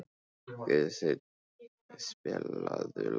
Guðstein, spilaðu lag.